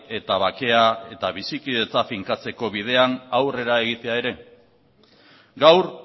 eta bakea eta bizikidetza finkatzeko bidean aurrera egitea ere gaur